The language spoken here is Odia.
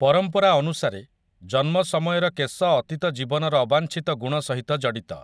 ପରମ୍ପରା ଅନୁସାରେ, ଜନ୍ମ ସମୟର କେଶ ଅତୀତ ଜୀବନର ଅବାଞ୍ଛିତ ଗୁଣ ସହିତ ଜଡିତ ।